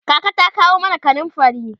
kaka ta kawo mana kanumfari